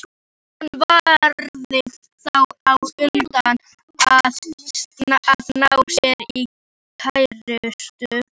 Hann varð þá á undan að ná sér í kærustu.